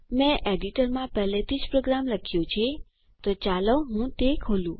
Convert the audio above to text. મેં એડિટરમાં પહેલેથી જ પ્રોગ્રામ લખ્યો છે તો ચાલો હું તે ખોલું